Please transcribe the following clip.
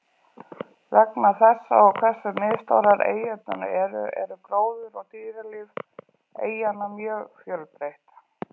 Vegna þessa og hversu misstórar eyjurnar eru, er gróður og dýralíf eyjanna mjög fjölbreytt.